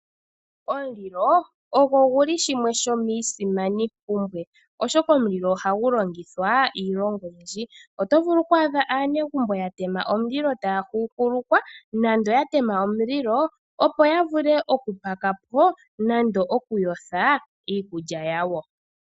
Omulilo ogo gumwe gomiisimaninima, oshoka omulilo ohagu longithwa iilonga oyindji. Oto vulu oku adha aanegumbo ya tema omulilo taya huhulukwa nenge ya tema omulilo, opo ya vule okupakapo nenge okuyotha iikulya yawo.